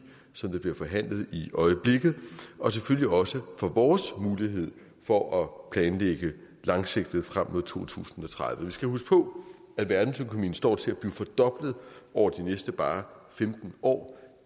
som bliver forhandlet i øjeblikket og selvfølgelig også for vores mulighed for at planlægge langsigtet frem mod to tusind og tredive vi skal huske på at verdensøkonomien står til at blive fordoblet over de næste bare femten år